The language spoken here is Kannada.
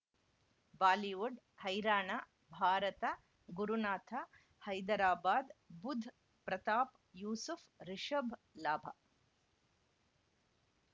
ಬಾಲಿವುಡ್ ಹೈರಾಣ ಭಾರತ ಗುರುನಾಥ ಹೈದರಾಬಾದ್ ಬುಧ್ ಪ್ರತಾಪ್ ಯೂಸುಫ್ ರಿಷಬ್ ಲಾಭ